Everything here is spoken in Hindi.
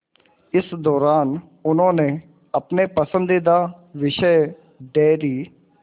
इस दौरान उन्होंने अपने पसंदीदा विषय डेयरी